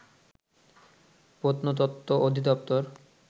প্রত্নতত্ব অধিদপ্তর